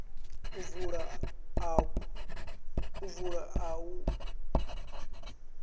u vula akhaunthu vha tea